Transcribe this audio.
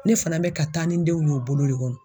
Ne fana bɛ ka taa ni denw ye o bolo de kɔnɔ.